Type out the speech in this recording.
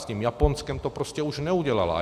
S tím Japonskem to prostě už neudělala.